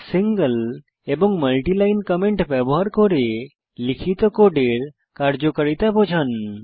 single এবং multiline comment ব্যবহার করে লিখিত কোডের কার্যকারিতা বোঝান